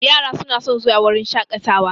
Yara su na son zuwa wurin shaƙatawa